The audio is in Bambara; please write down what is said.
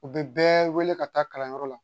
U bɛ bɛɛ wele ka taa kalanyɔrɔ la